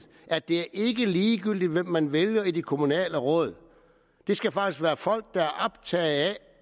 at det ikke er ligegyldigt hvem man vælger til de kommunale råd det skal faktisk være folk der er optaget